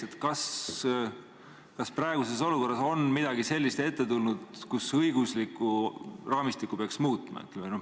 Teiseks, kas praeguses olukorras on ette tulnud midagi sellist, kus õiguslikku raamistikku peaks muutma?